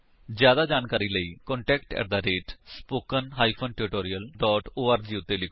ਜਿਆਦਾ ਜਾਣਕਾਰੀ ਲਈ ਕੰਟੈਕਟ ਸਪੋਕਨ ਟਿਊਟੋਰੀਅਲ ਓਰਗ ਉੱਤੇ ਲਿਖੋ